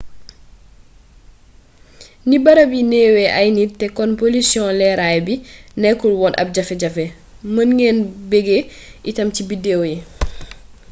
ni barab yi neewee ay nit te kon polisiyon leeray bi nekkul woon ab jafe-jafe mën ngeen beggee itam ci biddeew yi